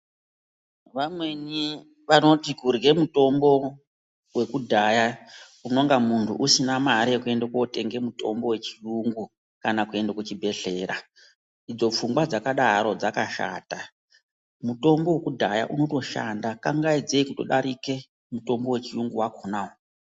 Vamweni vanoti kurye mutombo wekudhaya unonga muntu usina mare yekuenda kootenga mutombo wachiyungu kana kuende kuchibhedhlera, idzo pfungwa dzakadaro dzakashata mutombo wekudhaya unotoshanda kangaidzei kutodarike mutombo wechiyungu wakhonawo.